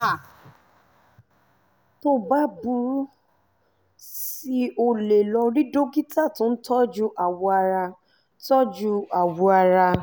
tó bá burú sí i o lè lọ rí dókítà tó ń tọ́jú awọ ara tọ́jú awọ ara